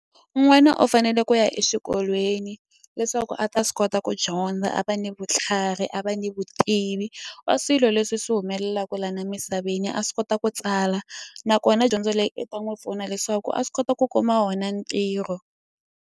N'wana u fanele ku ya exikolweni leswaku a ta swi kota ku dyondza a va ni vutlhari a va ni vutivi wa swilo leswi swi humelelaku la na misaveni a swi kota ku tsala nakona dyondzo leyi i ta n'wi pfuna leswaku a swi kota ku kuma wona ntirho.